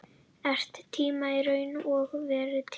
Er tími í raun og veru til?